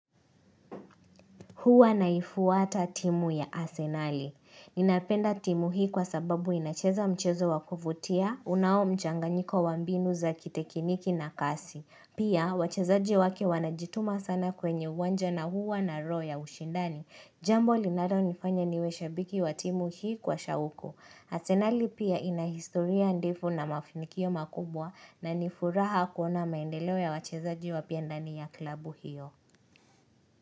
Huwa naifuata timu ya asenali. Ninapenda timu hii kwa sababu inacheza mchezo wakuvutia, unao mchanganyiko wa mbinu za kitekiniki na kasi. Pia, wachezaji wake wanajituma sana kwenye uwanja na huwa na roho ushindani. Jambo linalo nifanya niwe shabiki wa timu hii kwa shauko. Asenali pia ina historia ndefu na mafinikio makubwa na nifuraha kuona maendeleo ya wachezaji wapya ndani ya klabu hiyo.